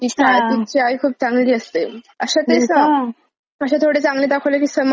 अशा ते होय का? अशे थोडं चांगले दाखवले की समाजात लोक कसं अनुकरण करायचं पाहतात.